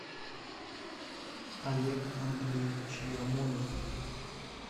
олег андреевич ермолин